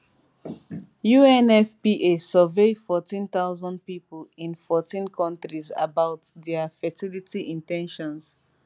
unfpa survey forteen thousand pipo in forteen countries about dia fertility in ten tions